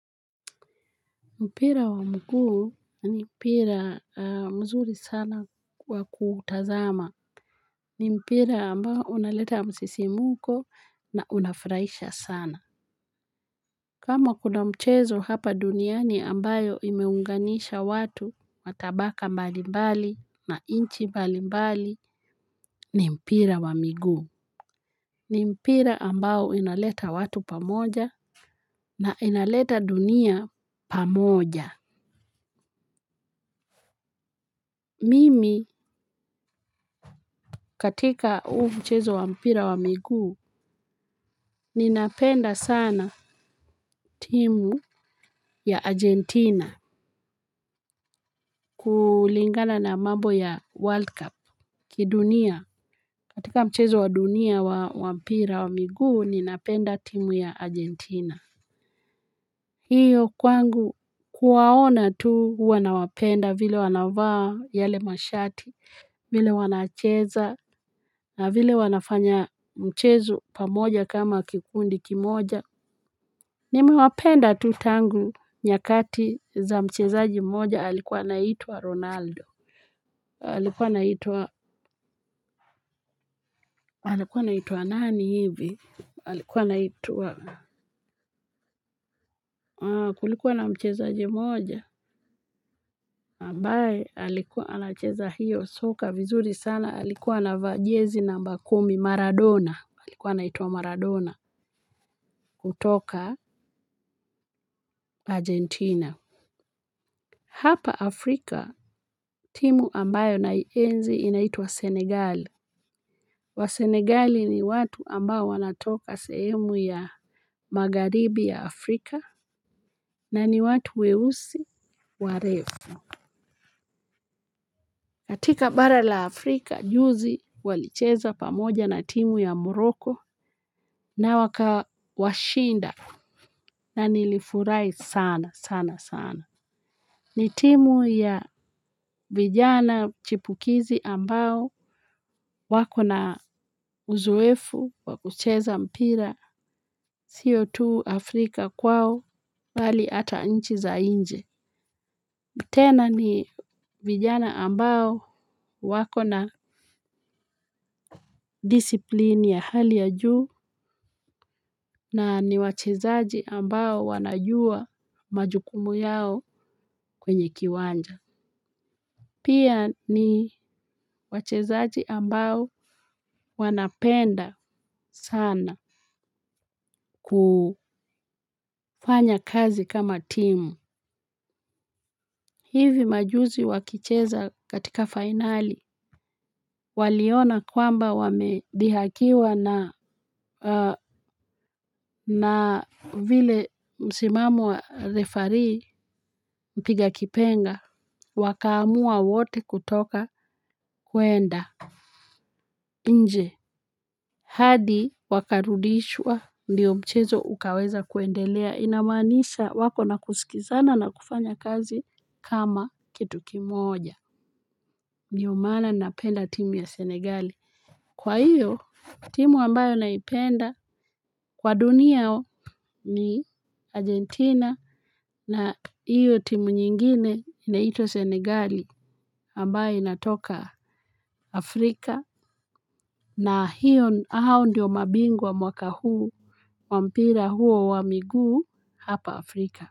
Mpira wa mguu ni mpira mzuri sana kwa kuutazama. Ni mpira ambao unaleta msisimko na unafurahisha sana. Kama kuna mchezo hapa duniani ambayo imeunganisha watu matabaka mbali mbali na nchi mbali mbali ni mpira wa mguu. Ni mpira ambao inaleta watu pamoja na inaleta dunia pamoja. Mimi katika huu mchezo wa mpira wa miguu ninapenda sana timu ya Argentina kulingana na mambo ya World Cup kidunia katika mchezo wa dunia wa mpira wa miguu ninapenda timu ya Argentina. Hiyo kwangu kuwaona tu huwa nawapenda vile wanavaa yale mashati, vile wanacheza, na vile wanafanya mchezo pamoja kama kikundi kimoja. Nimewapenda tu tangu nyakati za mchezaji mmoja alikuwa anaitwa Ronaldo. Alikuwa anitwa nani hivi? Alikuwa anaitwa kulikuwa na mchezaji moja. Ambaye halikuwa anacheza hiyo soka vizuri sana halikuwa na vajiezi namba kumi Maradona halikuwa naituwa Maradona kutoka Argentina. Hapa Afrika timu ambayo naienzi inaitwa Senegali. Wasenegali ni watu ambayo wanatoka sehemu ya magharibi ya Afrika na ni watu weusi warefu katika bara la Afrika, juzi walicheza pamoja na timu ya Morroco na wakawashinda na nilifurahi sana sana sana. Ni timu ya vijana chipukizi ambao wako na uzoefu wakucheza mpira sio tu Afrika kwao bali hata nchi za nje. Tena ni vijana ambao wako na disipline ya hali ya juu na ni wachezaji ambao wanajua majukumu yao kwenye kiwanja. Pia ni wachezaji ambao wanapenda sana kufanya kazi kama timu. Hivi majuzi wakicheza katika finali waliona kwamba wamedhihakiwa na na vile msimamo wa refarii mpiga kipenga wakaamua wote kutoka kuenda nje hadi wakarudishwa ndiyo mchezo ukaweza kuendelea inamanisha wako na kusikizana na kufanya kazi kama kitu kimoja. Ndio maana napenda timu ya Senegali. Kwa hiyo timu ambayo naipenda kwa dunia ni Argentina. Na hiyo timu nyingine inaitwa Senegali ambayo inatoka Afrika. Na hiyo hao ndiyo mabingu wa mwaka huu wa mpira huo wa miguu hapa Afrika.